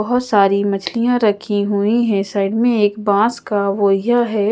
बहोत सारी मछलिया रखी हुई है साइड में एक बॉस का वोहिया है।